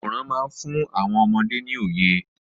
Àwòrán má ń fún àwọn ọmọdé ní òye.